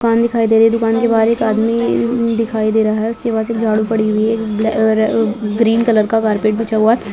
दुकान दिखाई दे रही है दुकान के बाहर एक आदमी दिखाई दे रहा है उसके पास एक झाड़ू पड़ी है ग्रीन कलर का कारपेट बिछा हुआ है।